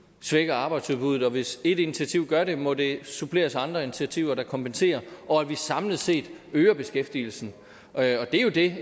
svækker arbejdsudbuddet og hvis et initiativ gør det må det suppleres af andre initiativer der kompenserer og at vi samlet set øger beskæftigelsen det er jo det